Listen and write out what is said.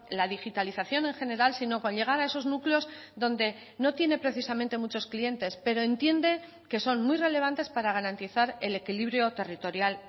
la digitalización en general sino con llegar a esos núcleos donde no tiene precisamente muchos clientes pero entiende que son muy relevantes para garantizar el equilibrio territorial